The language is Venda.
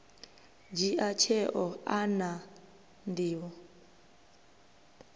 dzhia tsheo a na nḓivho